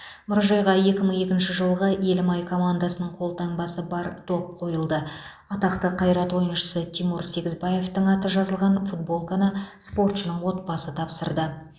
мұражайға екі мың екінші жылғы елімай командасының қолтаңбасы бар доп қойылды атақты қайрат ойыншысы тимур сегізбаевтың аты жазылған футболканы спортшының отбасы тапсырды